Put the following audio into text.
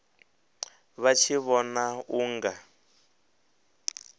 vha tshi vhona u nga